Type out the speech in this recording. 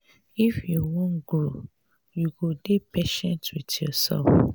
if you wan grow you go dey patient wit yoursef.